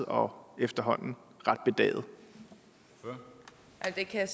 om den her